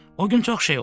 O gün çox şey oldu.